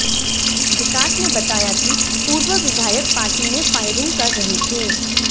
विकास ने बताया कि पूर्व विधायक पार्टी में फायरिंग कर रहे थे